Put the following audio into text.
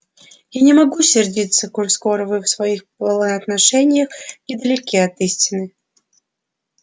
я не могу сердиться коль скоро вы в своих поношениях недалеки от истины